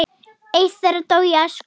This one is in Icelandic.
Eitt þeirra dó í æsku.